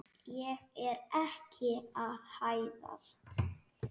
Ég er ekki að hæðast.